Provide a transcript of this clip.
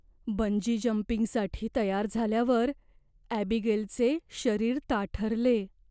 Bungee जंपिंगसाठी तयार झाल्यावर ॲबीगेलचे शरीर ताठरले.